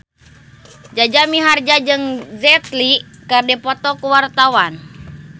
Jaja Mihardja jeung Jet Li keur dipoto ku wartawan